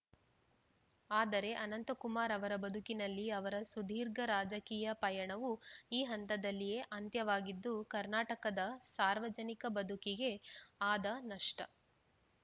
ಆದರೆ ಅನಂತಕುಮಾರ್‌ ಅವರ ಬದುಕಿನಲ್ಲಿ ಅವರ ಸುದೀರ್ಘ ರಾಜಕೀಯ ಪಯಣವು ಈ ಹಂತದಲ್ಲಿಯೇ ಅಂತ್ಯವಾಗಿದ್ದು ಕರ್ನಾಟಕದ ಸಾರ್ವಜನಿಕ ಬದುಕಿಗೆ ಆದ ನಷ್ಟ